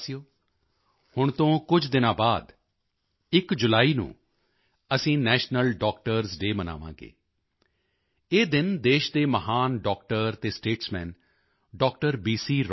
ਮੇਰੇ ਪਿਆਰੇ ਦੇਸ਼ਵਾਸੀਓ ਹੁਣ ਤੋਂ ਕੁਝ ਦਿਨਾਂ ਬਾਅਦ 1 ਜੁਲਾਈ ਨੂੰ ਅਸੀਂ ਨੈਸ਼ਨਲ ਡਾਕਟਰਜ਼ ਡੇਅ ਮਨਾਵਾਂਗੇ ਇਹ ਦਿਨ ਦੇਸ਼ ਦੇ ਮਹਾਨ ਡਾਕਟਰ ਅਤੇ ਸਟੇਟਸਮੈਨ ਡਾ